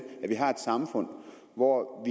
at vi har et samfund hvor